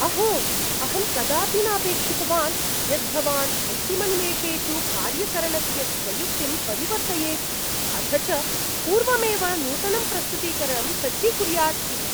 अहो! अहं कदापि न अपेक्षितवान् यत् भवान् अन्तिमनिमेषेषु कार्यकरणस्य स्वयुक्तिं परिवर्तयेत्, अथ च पूर्वमेव नूतनं प्रस्तुतीकरणं सज्जीकुर्याद् इति।